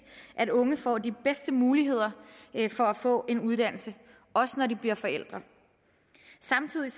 at unge får de bedste muligheder for at få en uddannelse også når de bliver forældre samtidig